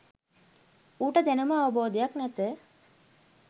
ඌට දැනුම අවබෝධයක් නැත